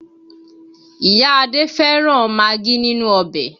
Ìyá Adé fẹ́ràn magí nínú ọbẹ̀